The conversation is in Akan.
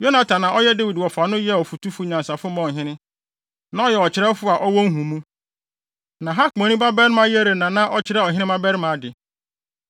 Yonatan a na ɔyɛ Dawid wɔfa no yɛɛ ɔfotufo nyansafo maa ɔhene. Na ɔyɛ ɔkyerɛwfo a ɔwɔ nhumu. Na Hakmoni babarima Yehiel na na ɔkyerɛ ɔhene mmabarima ade.